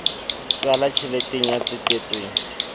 h tswala tjheleteng ya tsetetsweng